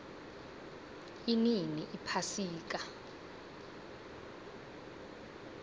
inini iphasika